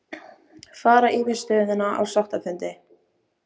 Fara yfir stöðuna á sáttafundi